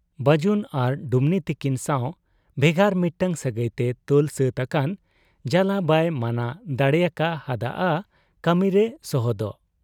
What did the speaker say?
ᱵᱟᱹᱡᱩᱱ ᱟᱨ ᱰᱩᱢᱱᱤ ᱛᱤᱠᱤᱱ ᱥᱟᱶ ᱵᱷᱮᱜᱟᱨ ᱢᱤᱫᱴᱟᱹᱝ ᱥᱟᱹᱜᱟᱹᱭᱛᱮ ᱛᱚᱞ ᱥᱟᱹᱛ ᱟᱠᱟᱱ ᱡᱟᱞᱟ ᱵᱟᱭ ᱢᱟᱱᱟ ᱫᱟᱲᱮᱭᱟᱠᱟ ᱦᱟᱫ ᱟ ᱠᱟᱹᱢᱤᱨᱮ ᱥᱚᱦᱚᱫᱚᱜ ᱾